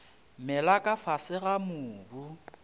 mela ka fase ga mobu